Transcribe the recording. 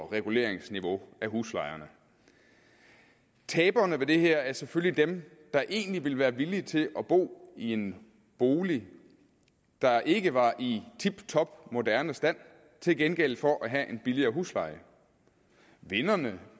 reguleringsniveau af huslejerne taberne ved det her er selvfølgelig dem der egentlig ville være villige til at bo i en bolig der ikke var i tiptop moderne stand til gengæld for at have en billigere husleje vinderne